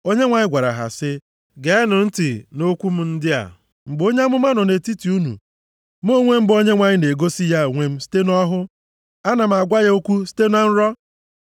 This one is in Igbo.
Onyenwe anyị gwara ha sị, “Geenụ ntị nʼokwu m ndị a: “Mgbe onye amụma nọ nʼetiti unu, Mụ onwe m bụ Onyenwe anyị na-egosi ya onwe m site nʼọhụ. Ana m agwa ya okwu site na nrọ.